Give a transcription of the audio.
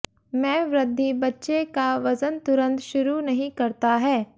में वृद्धि बच्चे का वजन तुरंत शुरू नहीं करता है